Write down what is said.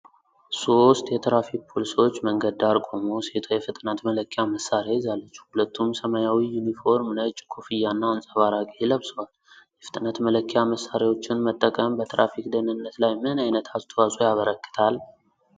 ሶስት የትራፊክ ፖሊሶች መንገድ ዳር ቆመው ሴቷ የፍጥነት መለኪያ መሳሪያ ይዛለች። ሁለቱም ሰማያዊ ዩኒፎርም፣ ነጭ ኮፍያና አንጸባራቂ ለብሰዋል። የፍጥነት መለኪያ መሳሪያዎችን መጠቀም በትራፊክ ደህንነት ላይ ምን ዓይነት አስተዋጽኦ ያበረክታል?